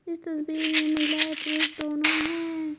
इस तस्वीर में महिला है पुरुष दोनों हैं।